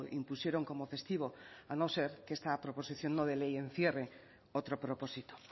impusieron como festivo a no ser que esta proposición no de ley encierre otro propósito